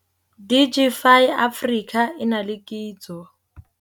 Digify Africa e na le Kitso